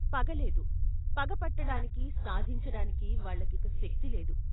పగలేదు పగపట్టటానికి, సాధించటానికి వాళ్ళకిక శక్తిలేదు.